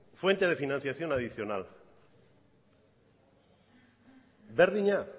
fuente de financiación adicional berdina